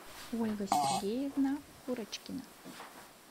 ольга сергеевна курочкина